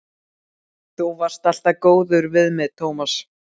Þú varst alltaf góður við mig, Tómas.